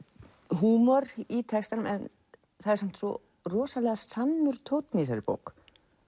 húmor í textanum en það er svo rosalega sannur tónn í þessari bók